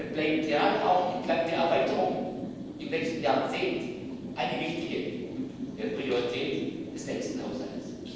Diese Aufgabe bleibt gerade auch entlang der Erweiterung im letzten Jahrzehnt eine wichtige Priorität des nächsten Haushalts.